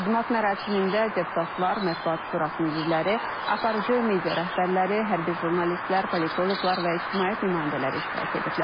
Təqdimat mərasimində deputatlar, Mətbuat Şurasının üzvləri, aparıcı media rəhbərləri, hərbi jurnalistlər, politoloqlar və ictimaiyyət nümayəndələri iştirak ediblər.